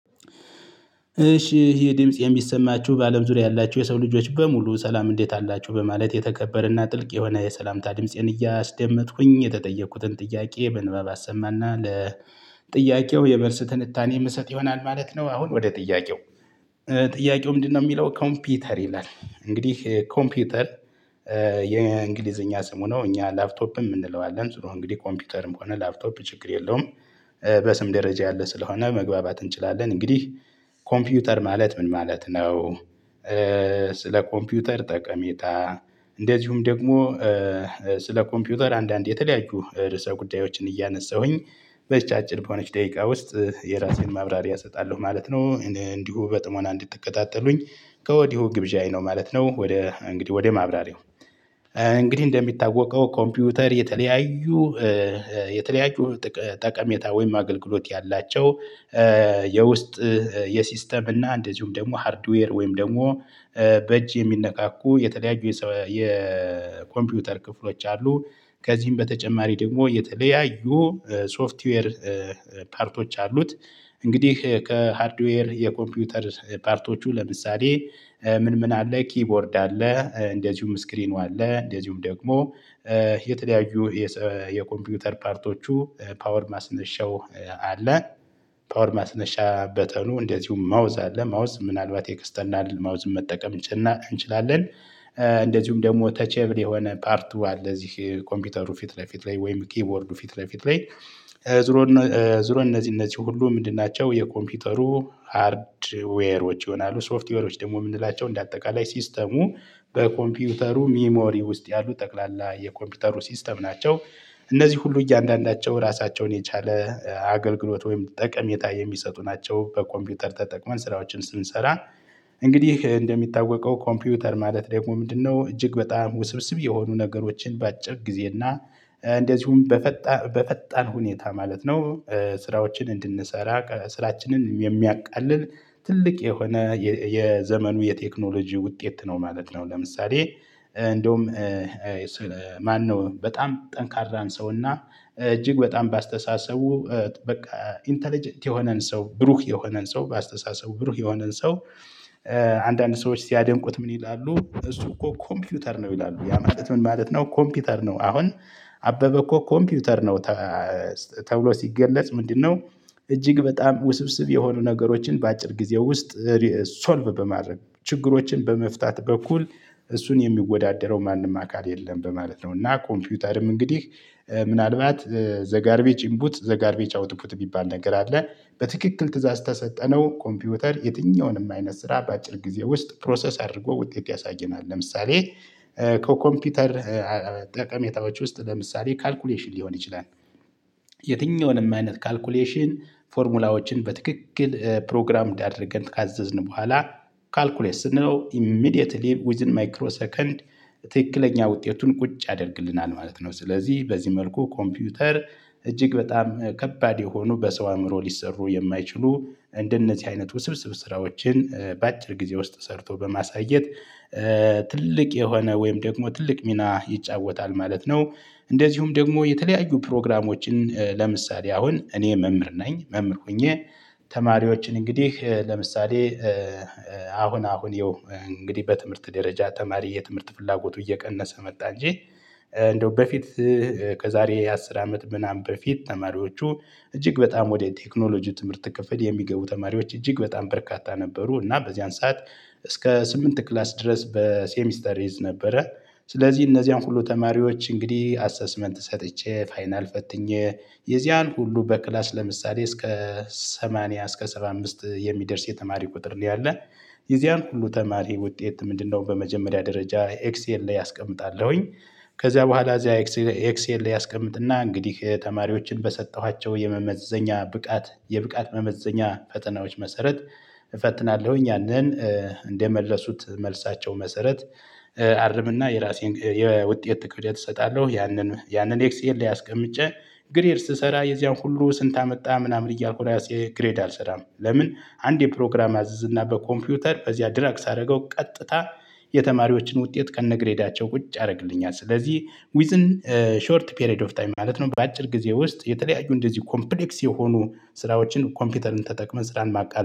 እሺ ይሄ ድምጽ የሚሰማችሁ በአለም ዙሪያ ያላችሁ የሰው ልጆች በሙሉ ሰላም እንዴት አላችሁ በማለት የተከበረና ጥልቅ የሆነ የሰላምታ ድምፄን እያስደመጥኩኝ የተጠየቅኩትን ጥያቄ ምንባብ አሰማና ለጥያቄው የመልስ ትንታኔ የምሰጥ ይሆናል ማለት ነው። አሁን ወደ ጥያቄው ጥያቄው ምንድነው? የሚለው ኮምፒውተር ይላል። እንግዲህ ኮምፒውተር የእንግሊዘኛ ስሙ ነው። እኛ ላፕቶፕም እንለዋለን እንግዲህ ኮምፒውተርም ሆነ ላፕቶፕ ችግር የለውም። በስም ደረጃ ያለ ስለሆነ መግባባት እንችላለን። እንግዲህ ኮምፒውተር ማለት ምን ማለት ነው? ስለ ኮምፒውተር ጠቀሜታ እንደዚሁም ደግሞ ስለ ኮምፒውተር አንዳንዴ የተለያዩ ርዕሰ ጉዳዮችን እያነሳሁኝ። በዚች አጭር በሆነች ደቂቃ ውስጥ የራሴን ማብራሪያ እሰጣለሁ ማለት ነው። እንዲሁ በጥሞና እንድትከታተሉኝ ከወዲሁ ግብዣዬ ነው ማለት ነው። ወደ እንግዲህ ወደ ማብራሪያው እንግዲህ እንደሚታወቀው ኮምፒውተር የተለያዩ የተለያዩ ጠቀሜታ ወይም አገልግሎት ያላቸው የውስጥ የሲስተም እና እንደዚሁም ደግሞ ሃርድዌር ወይም ደግሞ በእጅ የሚነካኩ የተለያዩ የኮምፒውተር ክፍሎች አሉ። ከዚህም በተጨማሪ ደግሞ የተለያዩ ሶፍትዌር ፓርቶች አሉት። እንግዲህ ከሃርድዌር የኮምፒውተር ፓርቶቹ ለምሳሌ ምን ምን አለ ኪቦርድ አለ እንደዚሁም ስክሪኑ አለ እንደዚሁም ደግሞ የተለያዩ የኮምፒውተር ፓርቶቹ ፓወር ማስነሻው አለ። ፓወር ማስነሻ በተኑ እንደዚሁም ማውዝ አለ ማውዝ ምናልባት ኤክስተርናል ማውዝ መጠቀም እንችላለን። እንደዚሁም ደግሞ ተቼብል የሆነ ፓርቱ አለ እዚህ ኮምፒውተሩ ፊት ለፊት ላይ ወይም ኪቦርዱ ፊት ለፊት ላይ። ዙሮ እነዚህ እነዚህ ሁሉ ምንድን ናቸው የኮምፒውተሩ ሃርድዌሮች ይሆናሉ። ሶፍትዌሮች ደግሞ የምንላቸው እንደ አጠቃላይ ሲስተሙ በኮምፒውተሩ ሜሞሪ ውስጥ ያሉ ጠቅላላ የኮምፒውተሩ ሲስተም ናቸው። እነዚህ ሁሉ እያንዳንዳቸው ራሳቸውን የቻለ አገልግሎት ወይም ጠቀሜታ የሚሰጡ ናቸው። በኮምፒውተር ተጠቅመን ስራዎችን ስንሰራ እንግዲህ እንደሚታወቀው ኮምፒውተር ማለት ደግሞ ምንድነው? እጅግ በጣም ውስብስብ የሆኑ ነገሮችን ባአጭር ጊዜ እና እንደዚሁም በፈጣን በፈጣን ሁኔታ ማለት ነው። ስራዎችን እንድንሰራ ስራችንን የሚያቃልል ትልቅ የሆነ የዘመኑ የቴክኖሎጂ ውጤት ነው ማለት ነው። ለምሳሌ እንደውም ማነው በጣም ጠንካራን ሰውና እጅግ በጣም በአስተሳሰቡ በቃ ኢንተለጀንት የሆነን ሰው ብሩህ የሆነን ሰው በአስተሳሰቡ ብሩህ የሆነን ሰው። አንዳንድ ሰዎች ሲያደንቁት ምን ይላሉ? እሱ እኮ ኮምፒውተር ነው ይላሉ። ያ ማለት ምን ማለት ነው? ኮምፒውተር ነው አሁን አበበ እኮ ኮምፒውተር ነው። ተብሎ ሲገለጽ ምንድነው? እጅግ በጣም ውስብስብ የሆኑ ነገሮችን በአጭር ጊዜ ውስጥ ሶልቭ በማድረግ ችግሮችን በመፍታት በኩል እሱን የሚወዳደረው ማንም አካል የለም በማለት ነው። እና ኮምፒውተርም እንግዲህ ምናልባት ዘጋርቤጅ ኢንፑት ዘጋርቤጅ አውትፑት የሚባል ነገር አለ። በትክክል ትእዛዝ ከሰጠነው ኮምፒውተር የትኛውንም አይነት ስራ በአጭር ጊዜ ውስጥ ፕሮሰስ አድርጎ ውጤት ያሳየናል። ለምሳሌ ከኮምፒውተር ጠቀሜታዎች ውስጥ ለምሳሌ ካልኩሌሽን ሊሆን ይችላል። የትኛውንም አይነት ካልኩሌሽን ፎርሙላዎችን በትክክል ፕሮግራምድ አድርገን ካዘዝን በኋላ ካልኩሌስ ስንለው ኢሚዲየትሊ ዊዝን ማይክሮ ሰከንድ ትክክለኛ ውጤቱን ቁጭ ያደርግልናል ማለት ነው። ስለዚህ በዚህ መልኩ ኮምፒውተር እጅግ በጣም ከባድ የሆኑ በሰው አእምሮ ሊሰሩ የማይችሉ እንደነዚህ አይነቱ ስብስብ ስራዎችን በአጭር ጊዜ ውስጥ ሰርቶ በማሳየት ትልቅ የሆነ ወይም ደግሞ ትልቅ ሚና ይጫወታል ማለት ነው። እንደዚሁም ደግሞ የተለያዩ ፕሮግራሞችን ለምሳሌ አሁን እኔ መምህር ነኝ። መምህር ሆኜ ተማሪዎችን እንግዲህ ለምሳሌ አሁን አሁን ያው እንግዲህ በትምህርት ደረጃ ተማሪ የትምህርት ፍላጎቱ እየቀነሰ መጣ እንጂ። እንደው በፊት ከዛሬ አስር አመት ምናምን በፊት ተማሪዎቹ እጅግ በጣም ወደ ቴክኖሎጂ ትምህርት ክፍል የሚገቡ ተማሪዎች እጅግ በጣም በርካታ ነበሩ። እና በዚያን ሰዓት እስከ ስምንት ክላስ ድረስ በሴሚስተር እይዝ ነበረ። ስለዚህ እነዚያን ሁሉ ተማሪዎች እንግዲህ አሰስመንት ሰጥቼ ፋይናል ፈትኜ የዚያን ሁሉ በክላስ ለምሳሌ እስከ ሰማንያ እስከ ሰባ አምስት የሚደርስ የተማሪ ቁጥር ነው ያለን። የዚያን ሁሉ ተማሪ ውጤት ምንድነው? በመጀመሪያ ደረጃ ኤክሴል ላይ አስቀምጣለሁኝ። ከዚያ በኋላ እዚያ ኤክሴል ኤክሴል ላይ አስቀምጥና እንግዲህ ተማሪዎችን በሰጠኋቸው የመመዘኛ ብቃት የብቃት መመዘኛ ፈተናዎች መሰረት። ያንን እንደመለሱት መልሳቸው መሰረት አርምና የራሴን የውጤት ክብደት እሰጣለሁ። ያንን ያንን ኤክስኤል ላይ አስቀምጬ ግሬድ ስሰራ የዚያን ሁሉ ስንት አመጣ ምናምን እያልኩ እራሴ ግሬድ አልሰራም ለምን? አንዴ ፕሮግራም አዝዝ እና በኮምፒውተር በዚያ ድራግ ሳደርገው ቀጥታ የተማሪዎችን ውጤት ከነ ግሬዳቸው ቁጭ ያደርግልኛል። ስለዚህ ዊዝን ሾርት ፔሬድ ኦፍ ታይም ማለት ነው። በአጭር ጊዜ ውስጥ የተለያዩ እንደዚህ ኮምፕሌክስ የሆኑ ስራዎችን ኮምፒውተርን ተጠቅመን ስራን ማቃለል